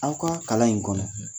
Aw kaa kalan in kɔnɔ